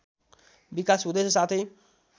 विकास हुँदैछ साथै